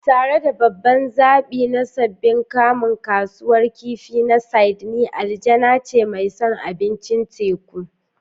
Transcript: Tare da babban zaɓi na sabbin kamu, Kasuwar Kifi na Sydney aljanna ce mai son abincin teku.